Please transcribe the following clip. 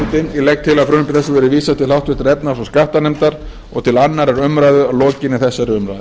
forseti ég legg til að frumvarpi þessu verði vísað til háttvirtrar efnahags og skattanefndar og til annarrar umræðu að lokinni þessari umræðu